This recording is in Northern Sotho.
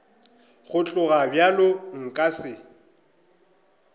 go tloga bjalo nka se